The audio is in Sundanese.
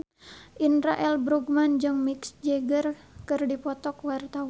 Indra L. Bruggman jeung Mick Jagger keur dipoto ku wartawan